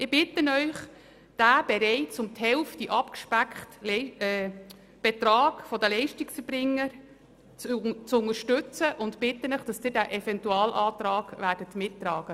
Ich bitte Sie, den bereits um die Hälfte abgespeckten Betrag der Leistungserbringer zu unterstützen und den Eventualantrag mitzutragen.